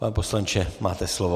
Pane poslanče, máte slovo.